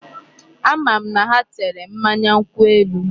Ama m na ha tere mmanya nkwụ elu.